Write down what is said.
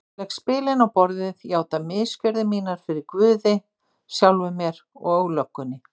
Ég legg spilin á borðið, játa misgjörðir mínar fyrir guði, sjálfum mér og löggunni.